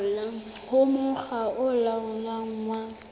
ho mokga o laolang wa